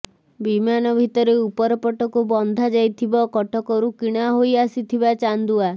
ବିମାନ ଭିତରେ ଉପରପଟକୁ ବନ୍ଧାଯାଇଥିବ କଟକରୁ କିଣା ହୋଇଆସିଥିବା ଚାନ୍ଦୁଆ